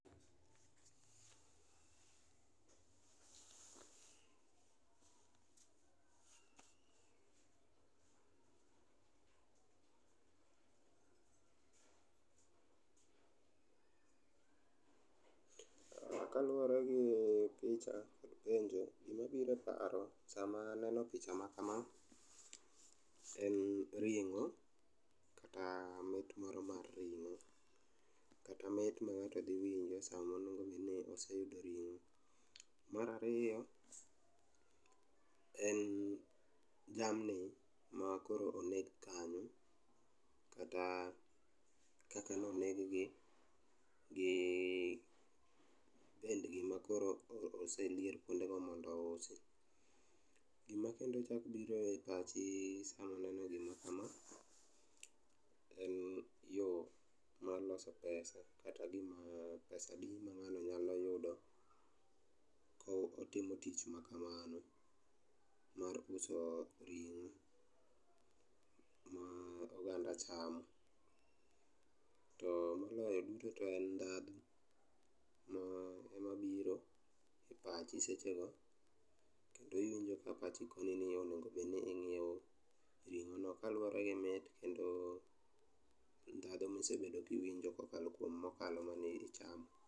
Kaluworegi picha bende gimabiro e paro sama aneo picha ma kama en ring'o, kata mit moro mar ring'o, kata mit ma ng'ato dhi winjo samo nongune oseyudo ring'o. Marariyo, en jamni ma koro oneg kanyo kata kaka noneg gi gi pendgi ma koro oselier kuondego mondo ousi. Gima kendo chak biro e pach sami nineno gima kama, en yo mar loso pesa kata gima pesa adi ma ng'ano nyalo yudo ko otimo tich ma kamano, mar uso ring'o ma oganda chamo. To moloyo duto te en ndhadhu emabiro e pachi sechego, kendo iwinjo ka pachi koni ni onegobed ni ing'iewo ring'ono kaluwore gi mit kendo ndhadho mosebedo kiwinjo kokalo kuom mokalo mane ichamo.